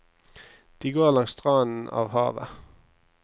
De går langs stranden av havet.